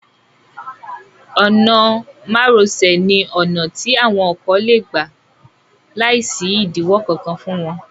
Ọ̀nà mároṣẹ̀ ní ọ̀nà tí àwọn ọkọ lé gbà láìsí ìdíwọ́ kankan fún wọn.